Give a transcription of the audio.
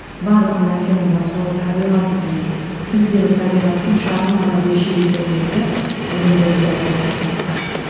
барлық нәрсенің бастауы табиғат екенін бізде бір табиғаттың шағын ғана бөлшегі екенімізді өлеңдерімде айтуға тырысамын